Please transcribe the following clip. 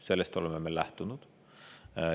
Sellest oleme me lähtunud.